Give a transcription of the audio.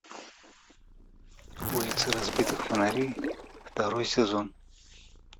улицы разбитых фонарей второй сезон